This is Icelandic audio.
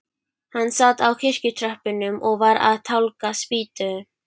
Hann sat á kirkjutröppunum og var að tálga spýtu.